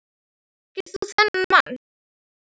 Þekkir þú þennan mann?